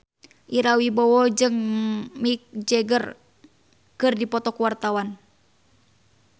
Ira Wibowo jeung Mick Jagger keur dipoto ku wartawan